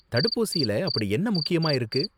தடுப்பூசியில அப்படி என்ன முக்கியமா இருக்கு?